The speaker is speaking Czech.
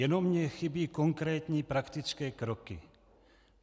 Jenom mi chybí konkrétní praktické kroky.